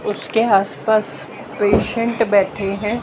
उसके आसपास पेशेंट बैठे हैं।